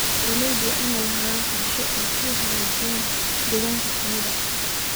Beeralayda waa inay lahaadaan qorshooyin ay ku hagaajinayaan deegaanka shinnida.